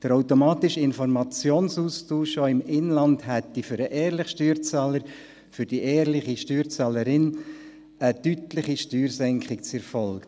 Der automatische Informationsaustausch im Inland hätte für den ehrlichen Steuerzahler und die ehrliche Steuerzahlerin eine deutliche Steuersenkung zur Folge.